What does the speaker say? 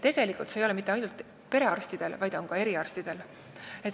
See ei ole mitte ainult perearstide, vaid ka eriarstide probleem.